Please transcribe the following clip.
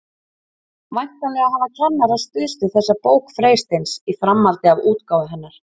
Væntanlega hafa kennarar stuðst við þessa bók Freysteins í framhaldi af útgáfu hennar.